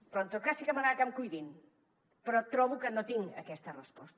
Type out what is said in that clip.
però en tot cas sí que m’agrada que em cuidin però trobo que no tinc aquesta resposta